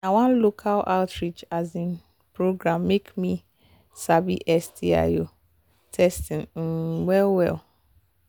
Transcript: na one local outreach um program make me sabi sti um testing um well well